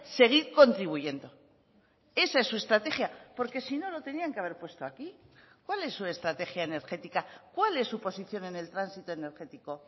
seguir contribuyendo esa es su estrategia porque si no lo tenían que haber puesto aquí cuál es su estrategia energética cuál es su posición en el tránsito energético